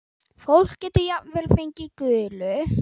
Fólk getur jafnvel fengið gulu.